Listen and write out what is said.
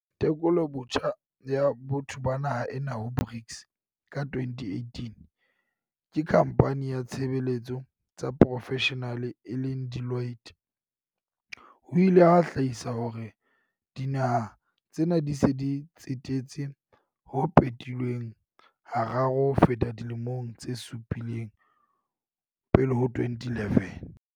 "Tekolobotjha ya botho ba naha ena ho BRICS ka 2018 ke khampane ya tshebe letso tsa profeshenale e leng Deloitte, ho ile ha hlahisa hore dinaha tsena di se di tsetetse ho phetilweng hararo ho feta dilemong tse supileng pele ho 2011".